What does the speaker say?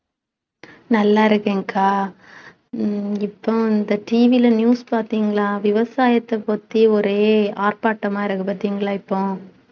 நல்லா இருக்கேன் அக்கா ஹம் உம் இப்போ இந்த TV ல news பார்த்தீங்களா விவசாயத்தைப் பத்தி ஒரே ஆர்ப்பாட்டமா இருக்கு பார்த்தீங்களா இப்போ